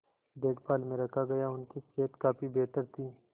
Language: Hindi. देखभाल में रखा गया उनकी सेहत काफी बेहतर थी